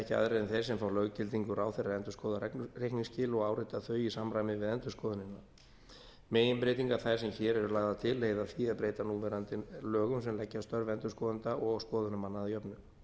ekki aðrir en þeir sem fá löggildingu ráðherra endurskoðað reikningsskil og áritað þau í samræmi við endurskoðunina meginbreytingar þær sem hér eru lagðar til leiða af því að breyta núverandi lögum sem leggja störf endurskoðenda og skoðunarmanna að jöfnu